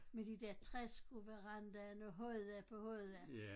Med de der træskoverandaerne hodda på hodda